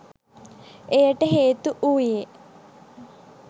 එයට හේතු වූයේ